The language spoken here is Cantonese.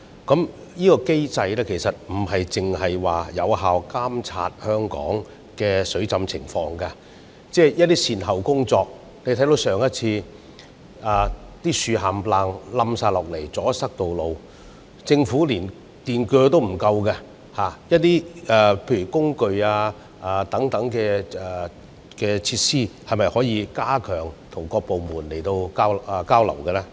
這機制並非只是有效監察香港的水浸情況，而是就一些善後工作來說，例如我們看到上次颱風襲港後，大量樹木倒塌並阻塞道路，但政府連電鋸也不足夠，在工具或設施方面，當局可否加強各部門之間的交流？